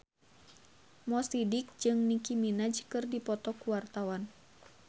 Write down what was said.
Mo Sidik jeung Nicky Minaj keur dipoto ku wartawan